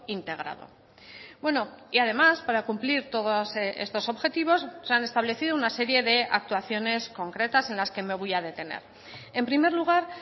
integrado bueno y además para cumplir todos estos objetivos se han establecido una serie de actuaciones concretas en las que me voy a detener en primer lugar